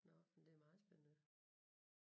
Nåh men det er meget spændende